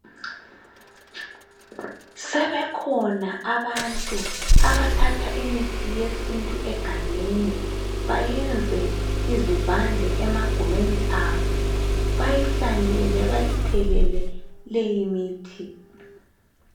Sebekhona abantu abathatha imithi yesintu egangeni bayenze izivande emagumeni abo bayihlanyele bayithelele leyi mithi